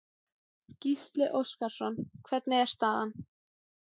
Gísli Óskarsson: Hvernig er staðan?